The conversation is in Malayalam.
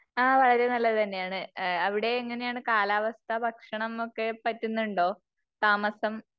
ആ വളരെ നല്ലത് തന്നെയാണ്. അവിടെ എങ്ങനെ ആണ്? കാലാവസ്ഥ ഭക്ഷണം ഒക്കെ പറ്റുന്നുണ്ടോ? താമസം